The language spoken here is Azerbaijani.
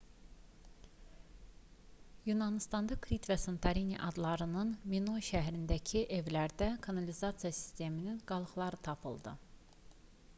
yunanıstanda krit və santorini adalarının minoy şəhərlərindəki evlərdə kanalizasiya sisteminin qalıqları tapıldı